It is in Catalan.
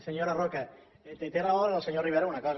senyora roca té raó el senyor rivera en una cosa